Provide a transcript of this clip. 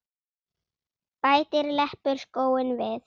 Bætir leppur skóinn vel.